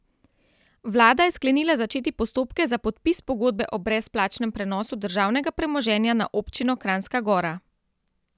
Vlada je sklenila začeti postopke za podpis pogodbe o brezplačnem prenosu državnega premoženja na občino Kranjska Gora.